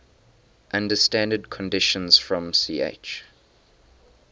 under standard conditions from ch